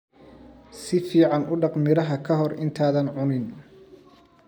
Si fiican u dhaq miraha ka hor intaadan cunin.